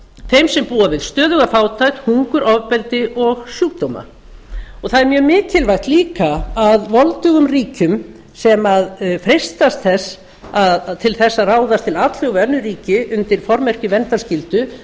þeim sem búa við stöðuga fátækt hungur ofbeldi og sjúkdóma það er mjög mikilvæg líka að voldugum ríkjum sem freistast til þess að ráðast til atlögu við önnur ríki undir formerkjum verndarskyldu